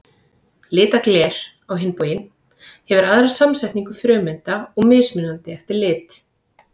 Litað gler, á hinn bóginn, hefur aðra samsetningu frumeinda og mismunandi eftir lit.